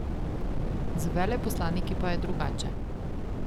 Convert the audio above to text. Z veleposlaniki pa je drugače.